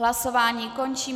Hlasování končím.